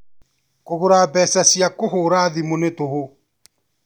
Kũgũra mbeca cia kũhũra thimũ nĩ tũhũ